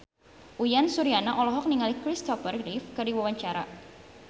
Uyan Suryana olohok ningali Christopher Reeve keur diwawancara